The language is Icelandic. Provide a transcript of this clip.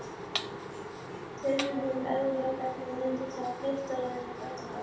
Tilviljun, erfðagalli, reyndist hafa reyrt á henni fæturna.